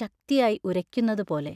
ശക്തിയായി ഉരയ്ക്കുന്നതുപോലെ...